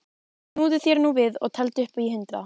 Snúðu þér núna við og teldu upp í hundrað.